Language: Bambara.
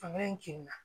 Fanga in kirina